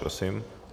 Prosím.